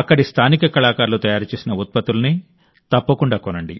అక్కడి స్థానిక కళాకారులు తయారు చేసిన ఉత్పత్తులనే తప్పకుండా కొనండి